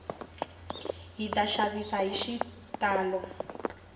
hita xavisa hi xitalo